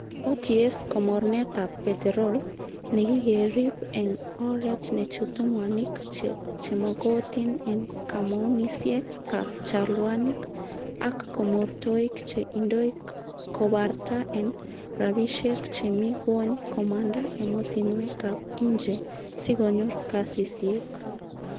OTS komornetab peterol, nekikerib en oret nechutu mwanik chemokotin en komounisiek ab chalwanik ak komortoik che indoi kobarta en rabishek chemi gwony komanda emotinwek ab inje sikonyor kasisiek.